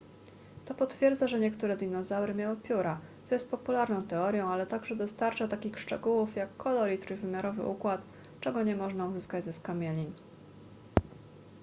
to potwierdza że niektóre dinozaury miały pióra co jest popularną teorią ale także dostarcza takich szczegółów jak kolor i trójwymiarowy układ czego nie można uzyskać ze skamielin